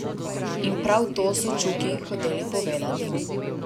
In prav to so Čuki hoteli povedati.